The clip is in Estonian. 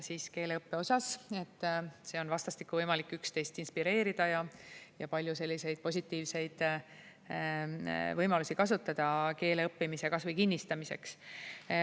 Seal on vastastikku võimalik üksteist inspireerida ja palju selliseid positiivseid võimalusi kasutada keele õppimiseks või kinnistamiseks.